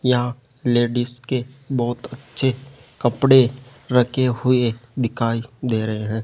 यहां लेडिस के बहुत अच्छे कपड़े रखे हुए दिखाई दे रहे हैं।